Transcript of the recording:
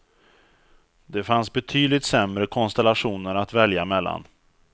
Det fanns betydligt sämre konstellationer att välja mellan.